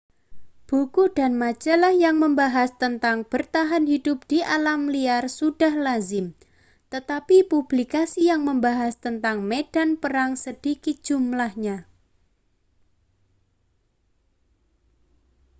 buku dan majalah yang membahas tentang bertahan hidup di alam liar sudah lazim tetapi publikasi yang membahas tentang medan perang sedikit jumlahnya